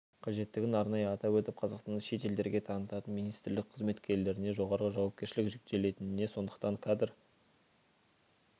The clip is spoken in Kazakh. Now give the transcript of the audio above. қажеттігін арнайы атап өтіп қазақстанды шет елдерге танытатын министрлік қызметкерлеріне жоғары жауапкершілік жүктелетініне сондықтан кадр